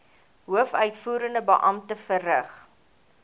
hoofuitvoerende beampte verrig